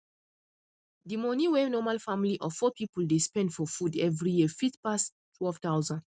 di money wey normal family of four people dey spend for food every year fit pass 12000